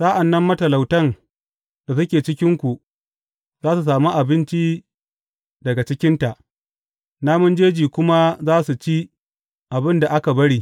Sa’an nan matalautan da suke cikinku za su sami abinci daga cikinta, namun jeji kuma za su ci abin da aka bari.